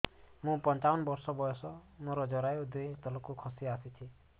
ମୁଁ ପଞ୍ଚାବନ ବର୍ଷ ବୟସ ମୋର ଜରାୟୁ ଦୁଇ ଇଞ୍ଚ ତଳକୁ ଖସି ଆସିଛି